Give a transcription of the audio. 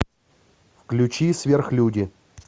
включи сверхлюди